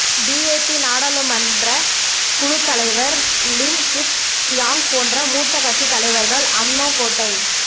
DAP நாடாளுமன்றக் குழுத் தலைவர் லிம் கிட் சியாங் போன்ற மூத்த கட்சித் தலைவர்கள் அம்னோ கோட்டை